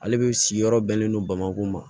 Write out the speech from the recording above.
Ale de si yɔrɔ bɛnnen don bamakɔ ma